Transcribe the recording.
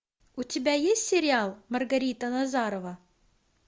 у тебя есть сериал маргарита назарова